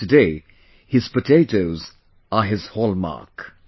and today his potatoes are his hallmark